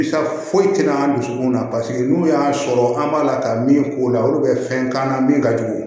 foyi tɛ na an ka dusukun na paseke n'u y'a sɔrɔ an b'a la ka min k'o la olu bɛ fɛn k'an na min ka jugu